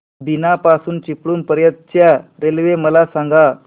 बीना पासून चिपळूण पर्यंत च्या रेल्वे मला सांगा